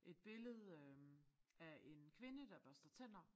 Et billede øh af en kvinde der børster tænder